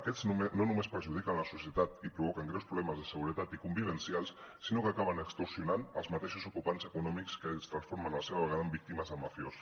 aquests no només perjudiquen la societat i provoquen greus problemes de seguretat i convivencials sinó que acaben extorsionant els mateixos ocupants econòmics que es transformen a la vegada en víctimes del mafiós